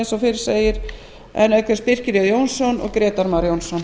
eins og fyrr segir en birkir jón jónsson grétar mar jónsson